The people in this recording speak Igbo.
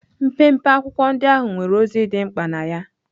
Mpempe akwụkwọ ndị ahụ nwere ozi dị mkpa na ya.